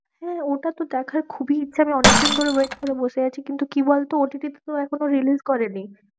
হ্যাঁ, ওটা তো দেখার খুবই ইচ্ছা, আমি অনেকদিন ধরে wait করে আছি, কিন্তু কি বল তো? তো এখনও release করেনি।